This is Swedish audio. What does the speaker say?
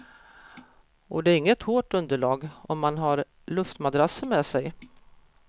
Och det är inget hårt underlag om man har luftmadrasser med sig.